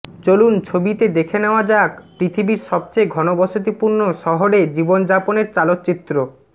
চলুন ছবিতে দেখে নেওয়া যাক পৃথিবীর সবচেয়ে ঘনবসতিপূর্ন শহরে জীবনযাপনের চালচিত্র